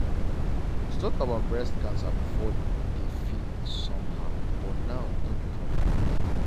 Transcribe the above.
to talk about breast cancer before de feel somehow but now no be problem again.